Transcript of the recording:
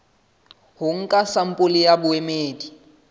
ho nka sampole ya boemedi